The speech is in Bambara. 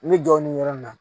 N bɛ jɔ nin yɔrɔ in na